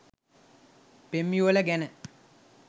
පෙම් යුවළ ගැන